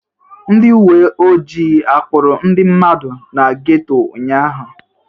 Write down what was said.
Ndị uwe ojii akpụrụ ndị mmadụ na geto ụnyaahụ?